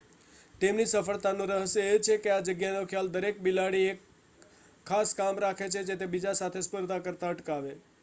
તેમની સફળતાનું રહસ્ય એ છે કે આ જગ્યાનો ખ્યાલ દરેક બિલાડી એક ખાસ કામ રાખે છે જે તેને બીજા સાથે સ્પર્ધા કરતા અટકાવે